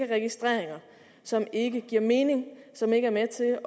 registreringer som ikke giver mening som ikke er med til